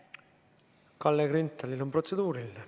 Kalle Grünthalil on protseduuriline.